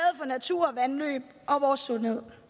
for natur og vandløb og vores sundhed